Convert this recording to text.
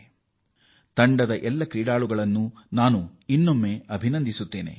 ನಾನು ಮತ್ತೊಮ್ಮೆ ತಂಡದ ಎಲ್ಲ ಆಟಗಾರರನ್ನೂ ಅಭಿನಂದಿಸುತ್ತೇನೆ